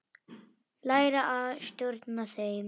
Læra að stjórna þeim.